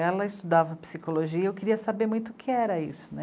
Ela estudava psicologia e eu queria saber muito o que era isso, né.